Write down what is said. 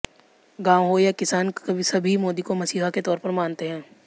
गांव हो या किसान सभी मोदी को मसीहा के तौर पर मानते हैं